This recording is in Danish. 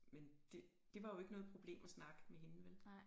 Men det det var jo ikke noget problem at snakke med hende vel